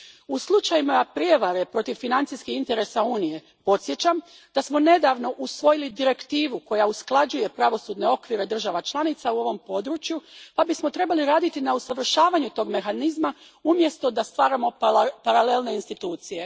U slučajevima prijevare protiv financijskih interesa Unije, podsjećam da smo nedavno usvojili direktivu koja usklađuje pravosudne okvire država članica u ovom području pa bismo trebali raditi na usavršavanju tog mehanizma umjesto da stvaramo paralelne institucije.